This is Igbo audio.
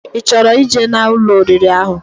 I choro ije na Ụlọ oriri ahu